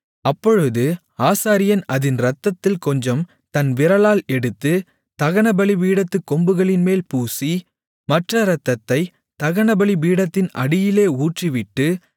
அப்பொழுது ஆசாரியன் அதின் இரத்தத்தில் கொஞ்சம் தன் விரலால் எடுத்து தகனபலிபீடத்துக் கொம்புகளின்மேல் பூசி மற்ற இரத்தத்தைத் தகனபலிபீடத்தின் அடியிலே ஊற்றிவிட்டு